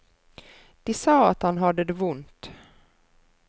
De sa at han hadde det vondt.